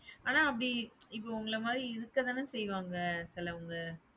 ஆனா அப்படி இப்ப உங்கள மாறி இருக்கதான செய்வாங்க சிலவுங்க.